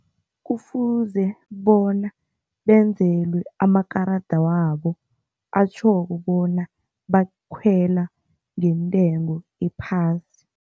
Kufuze bona benzelwe amakarada wabo atjhoko bona bakhwela ngentengo ephasi.